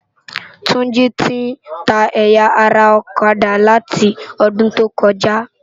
Tunji ti n tá ëyá ara òkadá látòdúntókòjá